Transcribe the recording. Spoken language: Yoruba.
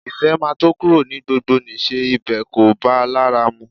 Ìfẹ́ máa tó kúrò ní gbogbonìṣe, ibẹ̀ kò bá a lára mu